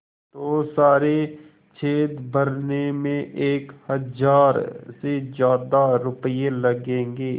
तो सारे छेद भरने में एक हज़ार से ज़्यादा रुपये लगेंगे